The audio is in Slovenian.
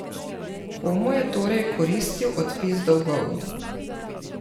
Komu je torej koristil odpis dolgov?